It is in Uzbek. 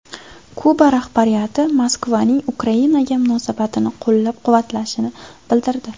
Kuba rahbariyati Moskvaning Ukrainaga munosabatini qo‘llab-quvvatlashini bildirdi.